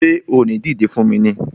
Ṣé o ò ní dìdé fún mi ni!